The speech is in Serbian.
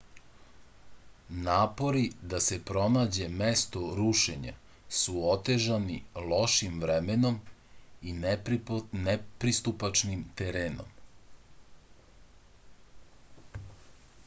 napori da se pronađe mesto rušenja su otežani lošim vremenom i nepristupačnim terenom